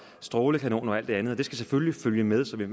strålekanoner og alt det andet og det skal selvfølgelig følge med så vi